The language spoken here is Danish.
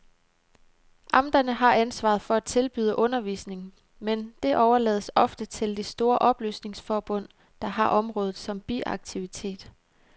Amterne har ansvaret for at tilbyde undervisning, men det overlades ofte til de store oplysningsforbund, der har området som biaktivitet.